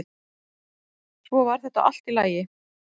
Svo varð þetta allt í lagi.